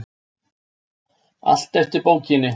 Allt eftir bókinni.